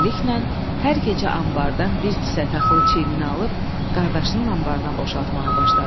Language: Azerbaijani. Beləliklə, hər gecə anbardan bir kisə taxılı çiyninə alıb qardaşının anbarına boşaltmağa başladı.